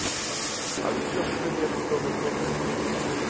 Að undanförnu hefur hann þó verið notaður sem miðjumaður.